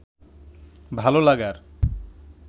ভালো লাগার